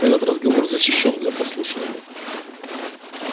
этот разговор защищён для прослушивания